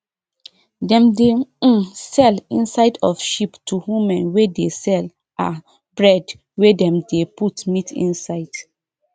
dem dey um sell inside of sheep to women wey dey sell um bread wey dem dey put meat inside